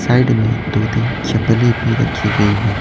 Side में दो-तीन चपले भी रखी गई हैं।